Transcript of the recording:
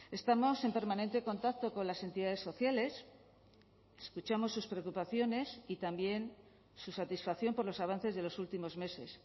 estamos en permanente contacto con las entidades sociales escuchamos sus preocupaciones y también su satisfacción por los avances de los últimos meses